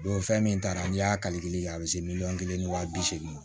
Don fɛn min taara n'i y'a kali a bɛ se miliyɔn kelen ni waa bisegin ma